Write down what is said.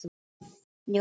Snorri í Eddu sinni.